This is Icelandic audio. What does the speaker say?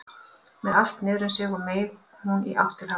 Með allt niður um sig meig hún í átt til hafs.